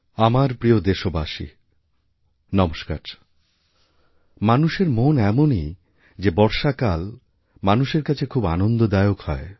আমার প্রিয় দেশবাসীনমস্কার মানুষের মন এমনই যে বর্ষাকাল মানুষের কাছে খুব আনন্দদায়ক হয়